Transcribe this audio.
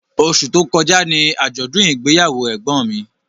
Osù tó kọjá ni àjọ̀dún ìgbéyàwó ẹ̀gbọ́n mi